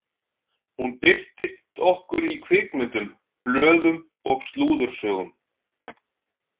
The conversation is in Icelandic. Hún birtist okkur í kvikmyndum, blöðum og slúðursögum.